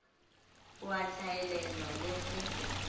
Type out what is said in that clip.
o a hlaelelwa le ge